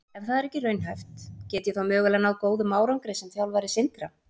Ef það er ekki raunhæft, get ég þá mögulega náð góðum árangri sem þjálfari Sindra?